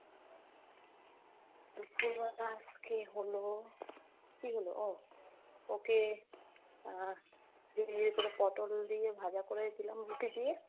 দুপুর বেলা আজকে হলো, কী হলো? ও ওকে আহ ইয়ে করে পটল দিয়ে ভাজা করে দিলাম রুটি দিয়ে।